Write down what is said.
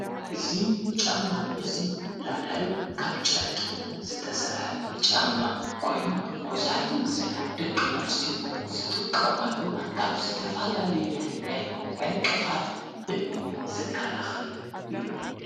እዙ ጫማ እዙይ ላዕላይዊ ካብ ጨርቂ ዘተሠርሐ ጫማ ኮይኑ መውዛሕቲ እጊዜ ደቂ ኣንስትዮ ዝጥቀምኣሉ ካብ ዝተፋላልየ ናይ ዕንቅፋት እምኒ ዝከላኸል እዩ::